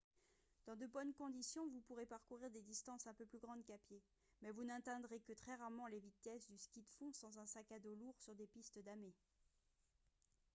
dans de bonnes conditions vous pourrez parcourir des distances un peu plus grandes qu'à pied mais vous n'atteindrez que très rarement les vitesses du ski de fond sans un sac à dos lourd sur des pistes damées